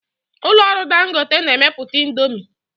Ụlọ ọrụ Dangote na-emepụta indomi.